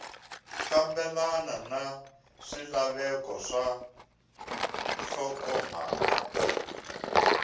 fambelena na swilaveko swa nhlokomhaka